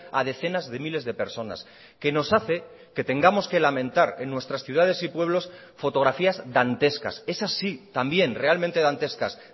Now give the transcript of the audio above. a decenas de miles de personas que nos hace que tengamos que lamentar en nuestras ciudades y pueblos fotografías dantescas es así también realmente dantescas